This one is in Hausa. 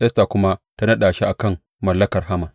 Esta kuma ta naɗa shi a kan mallakar Haman.